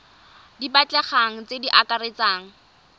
di batlegang tse di akaretsang